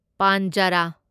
ꯄꯥꯟꯓꯔꯥ